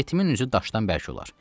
Yetimin üzü daşdan bərk olar.